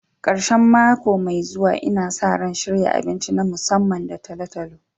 Karshen mako mai zuwa, Ina sa ran shirya abinci na musamman da talo-talo.